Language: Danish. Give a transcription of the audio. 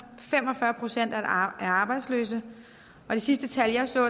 fem og fyrre procent er arbejdsløse og det sidste tal jeg så